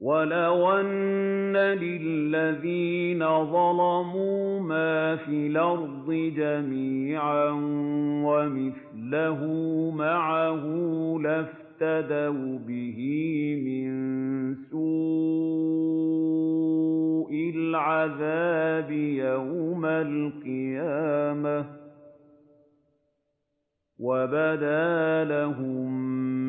وَلَوْ أَنَّ لِلَّذِينَ ظَلَمُوا مَا فِي الْأَرْضِ جَمِيعًا وَمِثْلَهُ مَعَهُ لَافْتَدَوْا بِهِ مِن سُوءِ الْعَذَابِ يَوْمَ الْقِيَامَةِ ۚ وَبَدَا لَهُم